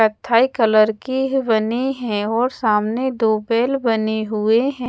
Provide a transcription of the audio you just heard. कत्थाई colour की बने है और सामने दो बेेल बने हुए हैं।